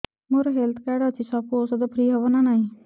ମୋର health card ଅଛି ସବୁ ଔଷଧ ଫ୍ରି ହବ ନା ନାହିଁ